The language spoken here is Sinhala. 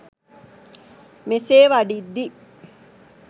මෙසේ වඩිද්දි